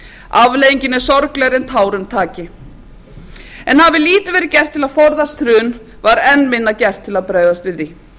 afleiðingin er sorglegri en tárum taki en hafi lítið verið gert til að forðast hrun var enn minna gert til að bregðast við því